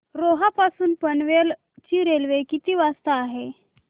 रोहा पासून पनवेल ची रेल्वे किती वाजता आहे